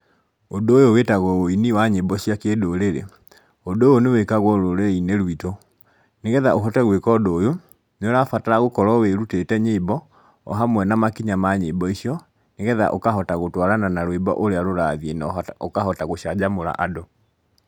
Ũndu ũyũ wĩtagwo wĩini wa nyĩmbo cia kĩndũrĩrĩ. Ũndũ ũyũ ni wĩkagwo rũrĩrĩ-inĩ rũitũ, nĩgetha ũhote gwĩka ũndũ ũyũ nĩ ũrabatara gũkorwo wĩrutĩte nyĩmbo o hamwe na makinya ma nyĩmbo icio nĩgetha ũkahota gũtwarana na rwĩmbo ũria rũrathiĩ na ũkahota gũcanjamũra andũ.